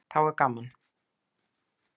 Þá er gaman.